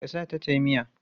Ka sa ta tayi miya?